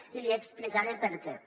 i li explicaré per què